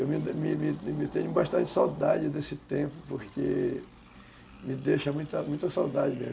Eu me tenho bastante saudade desse tempo, porque me deixa muita muita saudade mesmo.